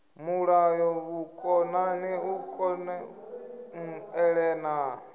mulalo vhukonani u kon elelana